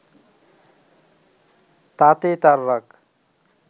তাতে তার রাগ